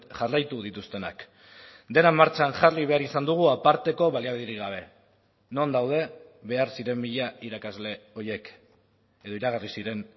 jarraitu dituztenak dena martxan jarri behar izan dugu aparteko baliabiderik gabe non daude behar ziren mila irakasle horiek edo iragarri ziren